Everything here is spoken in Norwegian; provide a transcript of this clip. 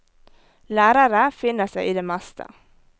Lærere finner seg i det meste.